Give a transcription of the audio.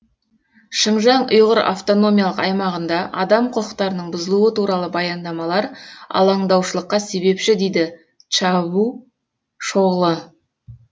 шыңжаң ұйғыр автономиялық аймағында адам құқықтарының бұзылуы туралы баяндамалар алаңдаушылыққа себепші дейді чавушоғлы